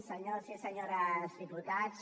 senyors i senyores diputats